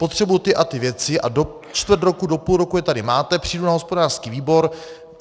Potřebuji ty a ty věci a do čtvrt roku, do půl roku je tady máte, přijdu na hospodářský výbor.